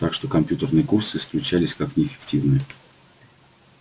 так что компьютерные курсы исключались как неэффективные